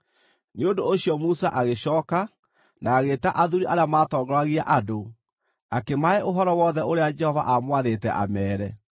Nĩ ũndũ ũcio Musa agĩcooka, na agĩĩta athuuri arĩa matongoragia andũ, akĩmahe ũhoro wothe ũrĩa Jehova aamwathĩte ameere.